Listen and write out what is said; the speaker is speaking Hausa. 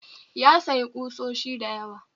Ya sayi kusoshi dayawa